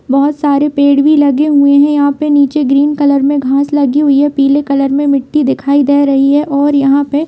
बहुत सारे पेड़ भी लगे हुए है यहां पे नीचे ग्रीन कलर में घास लगी हुई है पीले कलर में मिट्टी दिखाई दे रही है और यहां पे --